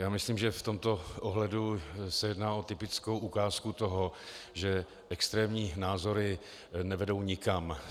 Já myslím, že v tomto ohledu se jedná o typickou ukázku toho, že extrémní názory nevedou nikam.